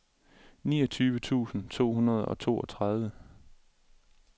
niogtyve tusind to hundrede og toogtredive